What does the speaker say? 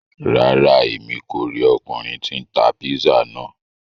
Ràrá, Èmí kó ríi ọkunrin tí n tá pizza náà